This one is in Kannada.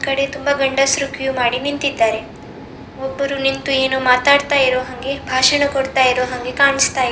ಈ ಕಡೆ ತುಂಬಾ ಗಂಡಸರು ಕ್ಯೂ ಮಾಡಿ ನಿಂತಿದ್ದಾರೆ ಒಬ್ಬರು ನಿಂತು ಏನೋ ಮಾತಾಡತಾ ಇರೋ ಹಂಗೆ ಭಾಷಣ ಕೊಡ್ತಾ ಇರೋ ಹಂಗೆ ಕಾಣಿಸ್ತಿದೆ.